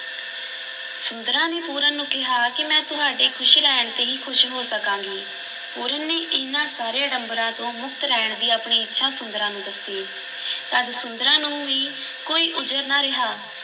ਸੁੰਦਰਾਂ ਨੇ ਪੂਰਨ ਨੂੰ ਕਿਹਾ ਕਿ ਮੈਂ ਤੁਹਾਡੇ ਖ਼ੁਸ਼ ਰਹਿਣ ’ਤੇ ਹੀ ਖ਼ੁਸ਼ ਹੋ ਸਕਾਂਗੀ, ਪੂਰਨ ਨੇ ਇਹਨਾਂ ਸਾਰੇ ਅਡੰਬਰਾਂ ਤੋਂ ਮੁਕਤ ਰਹਿਣ ਦੀ ਆਪਣੀ ਇੱਛਾ ਸੁੰਦਰਾਂ ਨੂੰ ਦੱਸੀ ਤਦ ਸੁੰਦਰਾਂ ਨੂੰ ਵੀ ਕੋਈ ਉਜਰ ਨਾ ਰਿਹਾ